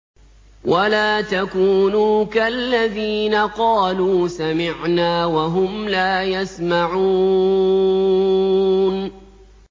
وَلَا تَكُونُوا كَالَّذِينَ قَالُوا سَمِعْنَا وَهُمْ لَا يَسْمَعُونَ